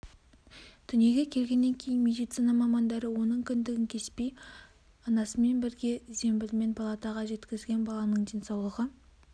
дүниеге келгеннен кейін медицина мамандары оның кіндігін кеспей анасымен бірге зембілмен палатаға жеткізген баланың денсаулығы